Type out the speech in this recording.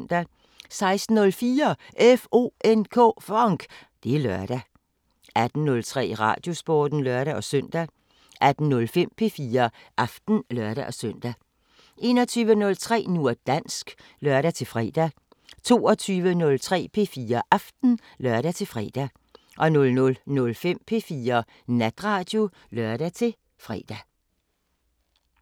16:04: FONK! Det er lørdag 18:03: Radiosporten (lør-søn) 18:05: P4 Aften (lør-søn) 21:03: Nu og dansk (lør-fre) 22:03: P4 Aften (lør-fre) 00:05: P4 Natradio (lør-fre)